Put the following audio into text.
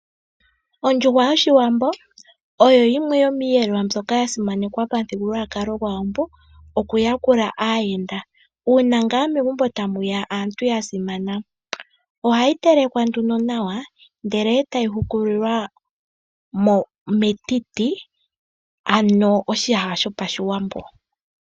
Ondjuhwa yOshiwambo oyo yimwe yomiiyelelwa mbyoka ya simanekwa pamuthigululwakalo gwAawambo okuyakula aayenda, uuna ngaa megumbo tamu ya aantu ya simana. Ohayi telekwa nduno nawa ndele e tayi hukulilwa metiti, ano oshiyaha shoPashiwambo.